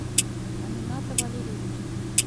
амината валерьевича